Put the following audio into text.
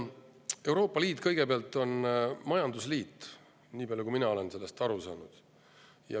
Euroopa Liit on majandusliit, niipalju kui mina olen sellest aru saanud.